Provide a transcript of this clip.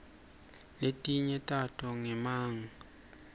letinye tato nyemangs